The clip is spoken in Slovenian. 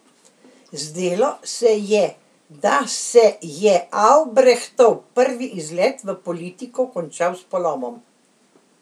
Zdelo se je, da se je Avbrehtov prvi izlet v politiko končal s polomom.